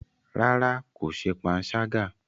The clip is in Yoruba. Rárá, ko ṣe panṣaga.